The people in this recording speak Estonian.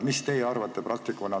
Mis teie praktikuna arvate?